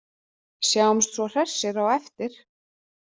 Sjáumst svo hressir á eftir.